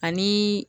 Ani